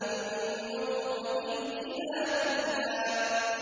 مِن نُّطْفَةٍ إِذَا تُمْنَىٰ